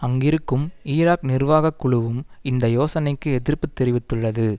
அங்கிருக்கும் ஈராக் நிர்வாக குழுவும் இந்த யோசனைக்கு எதிர்ப்பு தெரிவித்துள்ளது